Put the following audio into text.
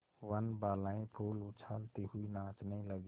वनबालाएँ फूल उछालती हुई नाचने लगी